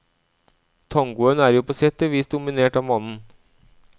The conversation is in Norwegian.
Tangoen er jo på sett og vis dominert av mannen.